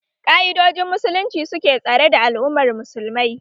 Ƙa'idojin musulunci suke tsare da al'ummar musulmai